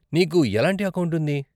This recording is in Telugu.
నీకు ఎలాంటి అకౌంట్ ఉంది?